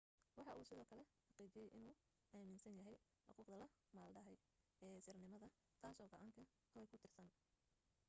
waxa uu sidoo kale xaqiijiyay inuu aaminsan yahay xuquuqda la maldahay ee sirnimada taasoo go'aanka roe ku tiirsanaa